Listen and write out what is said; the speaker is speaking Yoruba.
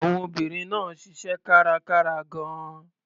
Àwọn obìnrin náà ṣiṣẹ́ kárakára gan-an.